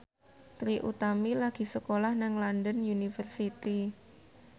Trie Utami lagi sekolah nang London University